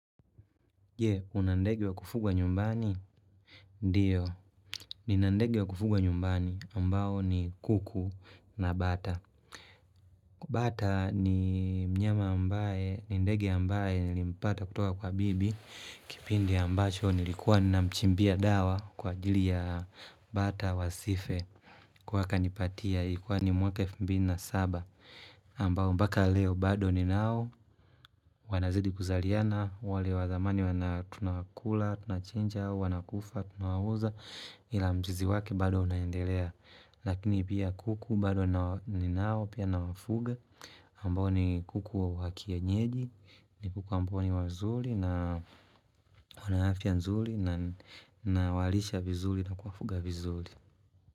Je, una ndege wa kufugwa nyumbani? Ndiyo, nina ndege wa kufugwa nyumbani ambao ni kuku na bata. Bata ni mnyama ambaye, ni ndege ambaye nilimpata kutoka kwa bibi. Kipindi ambacho nilikuwa nina mchimbia dawa kwa ajili ya bata wasife. Kwa akanipatia ikuwa ni mwaka elfu mbili na saba. Ambao mpaka leo bado ninao. Wanazidi kuzaliana, wale wa zamani wana tunawakula, tunachinja, wana kufa, tunawauza Ila mjizi wake bado unaendelea Lakini pia kuku bado ninao pia nawafuga amabao ni kuku wa kienyeji ni kuku amabo niwazuli na wana afya nzuli na Nawalisha vizuli na kuafuga vizuli.